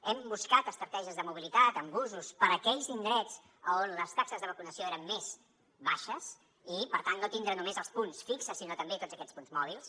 hem buscat estratègies de mobilitat amb busos per a aquells indrets on les taxes de vacunació eren més baixes i per tant no tindre només els punts fixos sinó també tots aquests punts mòbils